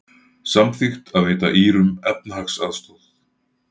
Samþykkt að veita Írum efnahagsaðstoð